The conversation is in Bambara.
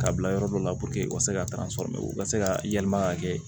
K'a bila yɔrɔ dɔ la u ka se ka sɔrɔ u ka se ka yɛlɛma ka kɛ